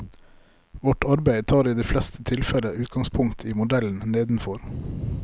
Vårt arbeid tar i de fleste tilfeller utgangspunkt i modellen nedenfor.